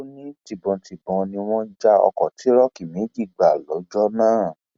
ó ní tibọntẹbọn ni wọn já ọkọ tìróòkì méjì gbà lọjọ náà